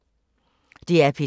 DR P2